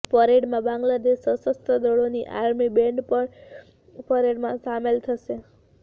પરેડમાં બાંગ્લાદેશ સશસ્ત્ર દળોની આર્મી બેંડ પણ પરેડમાં શામેલ થશે